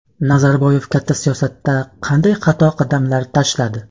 Nazarboyev katta siyosatda qanday xato qadamlar tashladi?.